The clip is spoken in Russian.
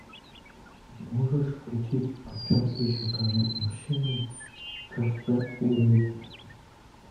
можешь включить о чем еще говорят мужчины джосса уидона